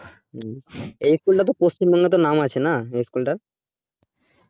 হম এই school টা তো পশ্চিমবঙ্গের মধ্যে নাম আছে না এই school টার